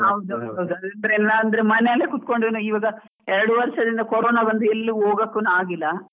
ಹೌದು ಹೌದು ಹೌದು, ಅದಿಲ್ಲ ಅಂದ್ರೆ ಮನೇಲಿ ಕುತ್ಕೊಂಡ್ ಈವಾಗ ಎರಡ್ ವರ್ಷದಿಂದ ಕೊರೊನ ಬಂದು ಎಲ್ಲೂ ಹೋಗೋಕೂನು ಆಗಿಲ್ಲ.